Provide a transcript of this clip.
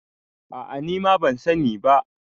a ' a ni ma ban sani ba